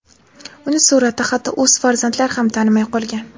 Uni suratda hatto o‘z farzandlari ham tanimay qolgan.